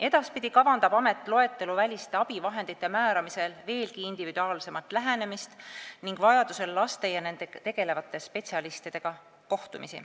Edaspidi kavandab amet loeteluväliste abivahendite määramisel veelgi individuaalsemat lähenemist ning vajadusel kohtumisi lastega ja nendega tegelevate spetsialistidega.